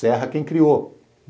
Serra quem criou.